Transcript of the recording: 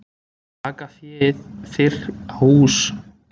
Taka féð fyrr á hús?